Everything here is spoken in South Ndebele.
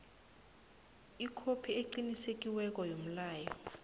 ikhophi eqinisekisiweko yomlayo